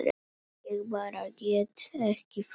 Ég bara get ekki farið